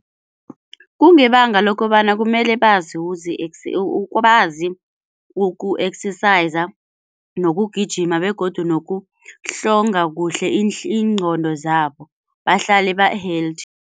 Kungebanga lokobana kumele bazi bazi uku-exerciser nokugijima begodu nokuhlonga kuhle iinqondo zabo bahlale ba-healthy.